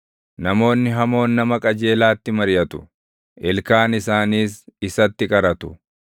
Namoonni hamoon nama qajeelaatti mariʼatu; ilkaan isaaniis isatti qaratu;